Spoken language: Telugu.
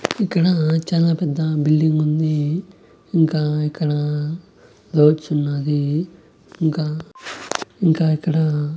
ఇక్కడా చాలా పెద్ద బిల్డింగ్ ఉంది ఇంకా ఇక్కడ ఉన్నాది ఇంకా ఇంకా ఇక్కడ --